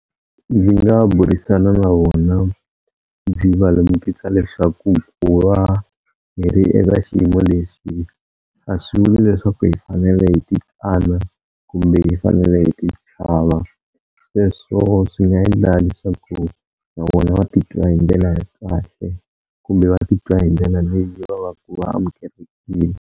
Ndzi nga burisana na vona ndzi va lemukisa leswaku ku va hi ri eka xiyimo leswi a swi vuli leswaku hi fanele hi ti tsana kumbe hi fanele hi ti chava, sweswo swi nga endla leswaku na vona va titwa hi ndlela ya kahle kumbe va titwa hi ndlela leyi va ku va amukelekile.